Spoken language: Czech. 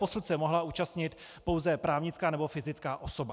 Doposud se mohla účastnit pouze právnická nebo fyzická osoba.